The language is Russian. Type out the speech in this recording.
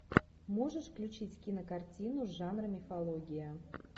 можешь включить кинокартину жанра мифология